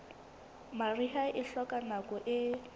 mariha e hloka nako e